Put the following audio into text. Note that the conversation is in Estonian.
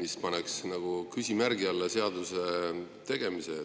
mis paneks nagu küsimärgi alla seaduse tegemise.